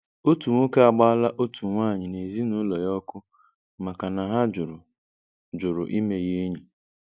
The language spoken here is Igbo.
Ọtụ nwọke agbaala ọtụ nwanyị na ezinaụlọ ya ọkụ maka na ha jụrụ jụrụ ịme ya enyi.